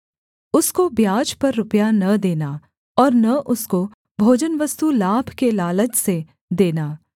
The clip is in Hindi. उसको ब्याज पर रुपया न देना और न उसको भोजनवस्तु लाभ के लालच से देना